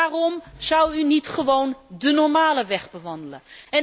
Waarom zou u niet gewoon de normale weg bewandelen?